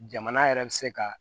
Jamana yɛrɛ bɛ se ka